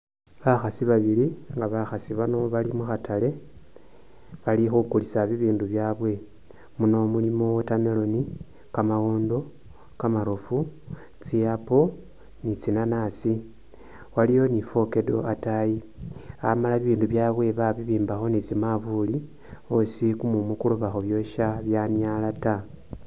Bakhaasi babili nga bakhaasi bano bali mukhatale balikhukulisa bibindu byabwe, muno mulimo watermelon, kamawondo, kamarofu, tsi'apple ni tsi'nanasi waliyo ni fokedo ataayi amala ibindu byabwe babibimbakho ni tsimanvulu osi kumumu koloba khubyosa kwanyala taa